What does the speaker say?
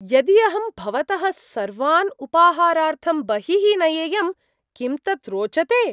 यदि अहं भवतः सर्वान् उपाहारार्थं बहिः नयेयं, किं तत् रोचते?